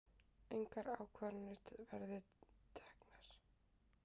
Engar ákvarðanir verið teknar